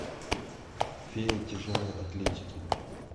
фея тяжелой атлетики